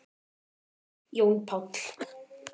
Jón Páll.